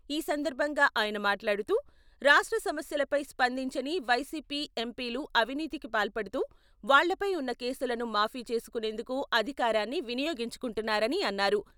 ఈ సందర్భంగా ఆయన మాట్లాడుతూ, రాష్ట్ర సమస్యలపై స్పందించని వైసీపీ ఎంపీలు అవినీతికి పాల్పడుతూ, వాళ్లపై ఉన్న కేసులను మాఫీ చేసుకునేందుకు అధికారాన్ని వినియోగించుకుంటున్నారని అన్నారు.